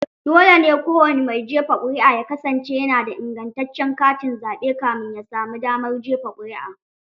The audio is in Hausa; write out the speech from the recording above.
Dole ne kowani mai jefa ƙuri'a ya kasance yana da ingantaccen katin zaɓe kamin ya samu damar jefa ƙuri'a.